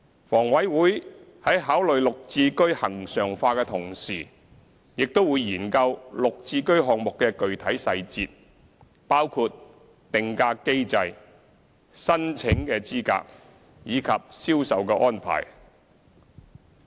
房委會在考慮"綠置居"恆常化的同時，亦會研究"綠置居"項目的具體細節，包括定價機制、申請資格及銷售安排。